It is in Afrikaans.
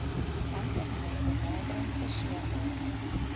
langtermyn benadering verseker